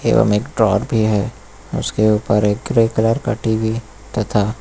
एवं एक ड्रॉअर भी है उसके ऊपर एक ग्रे कलर का टी_वी तथा--